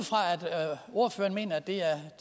ordføreren mener at det er